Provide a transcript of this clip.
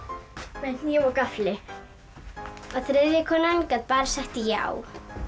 með hníf og gaffli og þriðja konan gat bara sagt já